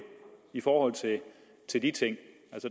i forhold til de ting